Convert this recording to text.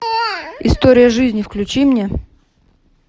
история жизни включи мне